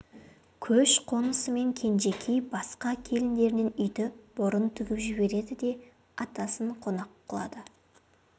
көш қонысымен кенжекей басқа келіндерінен үйді бұрын тігіп жібереді де атасын қонақ қылады